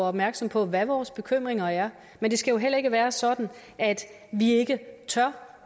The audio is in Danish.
opmærksom på hvad vores bekymringer er men det skal jo heller ikke være sådan at vi ikke tør